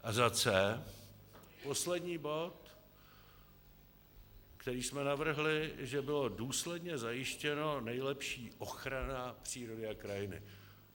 A za c), poslední bod, který jsme navrhli, aby byla důsledně zajištěna nejlepší ochrana přírody a krajiny.